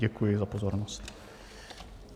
Děkuji za pozornost.